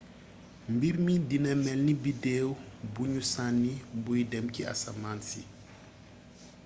mbirmi dina mélni biddéw bugnu sanni buy dém ci asamaansi